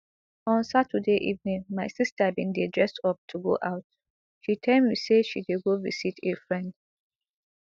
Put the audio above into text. on saturday evening my sister bin dey dress up to go out she tell me say she dey go visit a friend